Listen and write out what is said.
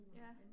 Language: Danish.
Ja